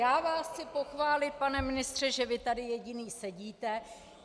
Já vás chci pochválit, pane ministře, že vy tady jediný sedíte.